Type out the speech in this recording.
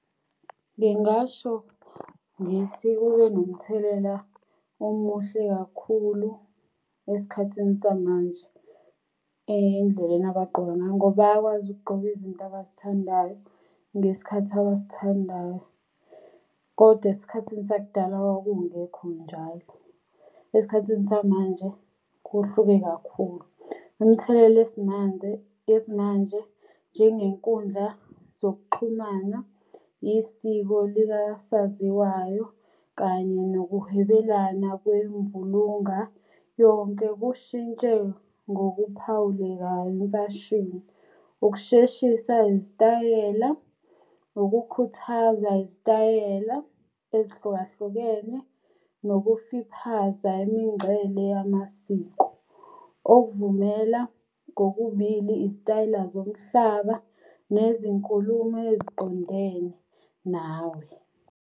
Ngingasho ngithi kube nomthelela omuhle kakhulu esikhathini samanje endleleni abagqoka ngayo ngoba bayakwazi ukugqoka izinto abazithandayo, ngesikhathi abasithandayo. Kodwa esikhathini sakudala kwakungekho njalo. Esikhathini samanje kuhluke kakhulu. Umthelela esimanze yesimanje njengenkundla zokuxhumana, isiko likasaziwayo, kanye nokuhwebelana kwembulunga yonke kushintshe ngokuphawulekayo imfashini. Ukusheshisa izitayela, ukukhuthaza izitayela ezihlukahlukene, nokuficaphaza imingcele yamasiko. Okuvumela kokubili izitayela zomhlaba nezinkulumo eziqondene nawe.